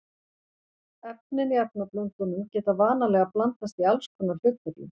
Efnin í efnablöndunum geta vanalega blandast í alls konar hlutföllum.